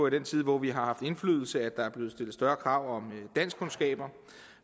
i den tid hvor vi har haft indflydelse er blevet stillet større krav om danskkundskaber